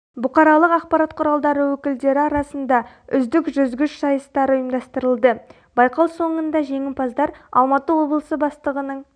бұқаралық ақпарат құралдары өкілдері арасында үздік жүзгіш сайыстары ұйымдастырылды байқау соңында жеңімпаздар алматы облысы бастығының